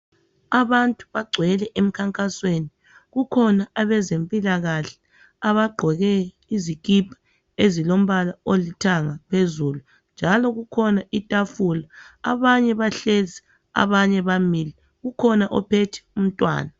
Abantu bagcwele emikhankasweni kukhona abezempikahle abagqoke izikipa ezilompalo olithanga phezulu njalo kukhona itafula abanye bahlezi abanye bamile ukhona uphethe umntwana.